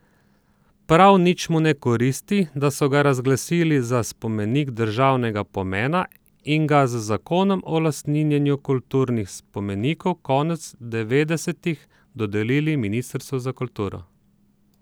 Prav nič mu ne koristi, da so ga razglasili za spomenik državnega pomena in ga z zakonom o lastninjenju kulturnih spomenikov konec devetdesetih dodelili ministrstvu za kulturo.